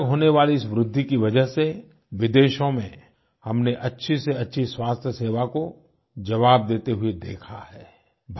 अचानक होने वाली इस वृद्धि की वजह से विदेशों में हमने अच्छे से अच्छे स्वास्थ्य सेवा को जवाब देते हुए देखा है